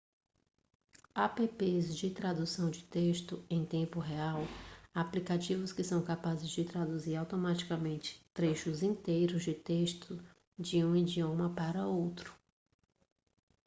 apps de tradução de texto em tempo real aplicativos que são capazes de traduzir automaticamente trechos inteiros de texto de um idioma para outro